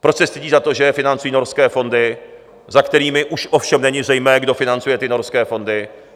Proč se stydí za to, že je financují norské fondy, za kterými už ovšem není zřejmé, kdo financuje ty norské fondy.